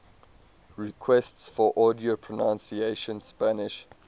requests for audio pronunciation spanish